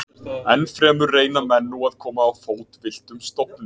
Enn fremur reyna menn nú að koma á fót villtum stofni.